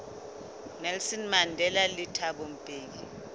nelson mandela le thabo mbeki